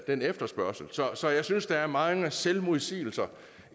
den efterspørgsel så jeg synes der er mange selvmodsigelser